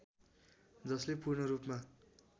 जसले पूर्णरूपमा